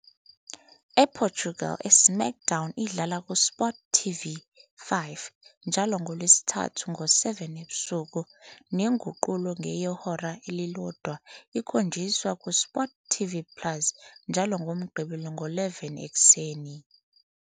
EPortugal, "iSmackDown" idlala kuSportTV 5 njalo ngoLwesithathu ngo-7 ebusuku, nenguqulo yehora elilodwa ikhonjiswa kuSportTV plus njalo ngoMgqibelo ngo-11 ekuseni.